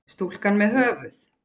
Stúlka með höfuð.